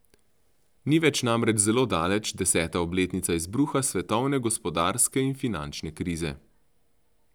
Ni več namreč zelo daleč deseta obletnica izbruha svetovne gospodarske in finančne krize.